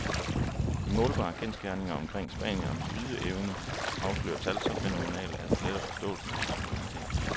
De målbare kendsgerninger omkring spanierens ydeevne afslører tal så fænomenale, at det letter forståelsen af hans suverænitet.